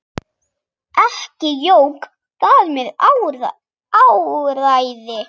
Ekki jók það mér áræði.